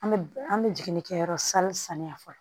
An bɛ an bɛ jiginni kɛyɔrɔ sali saniya fɔlɔ